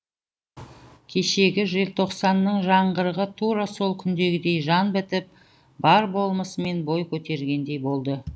кешегі желтоқсанның жаңғырығы тура сол күнгідей жан бітіп бар болмысымен бой көтергендей болды